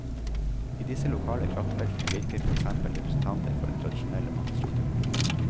I disse lokale kraftfeltene virker for eksempel representanter for den tradisjonelle maktstrukturen.